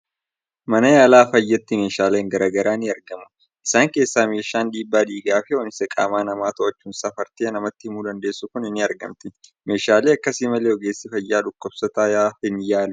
Mana yaala fayyaatti meeshaaleen garaa garaa ni argamu. Isaan keessaa meeshaan dhiibbaa dhiigaa fi ho'iinsa qaama namaa to'achuun safartee namatti himuu dandeessu kuni ni argamti. Meeshaalee akkasii malee ogeessi fayyaa dhukkubsataa hin yaalu!